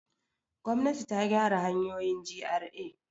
Gwamnati ta gyara hanyoyin GRA.